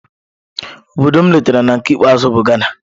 Obodo m letara na nke ikpeazụ bụ Ghana.